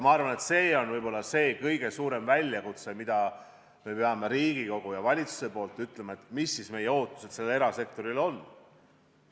Ma arvan, et see on võib-olla kõige suurem väljakutse, Riigikogu ja valitsus peavad ütlema, mis me erasektorilt ootame.